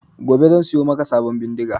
Gobe zan siyo maka sabon bindiga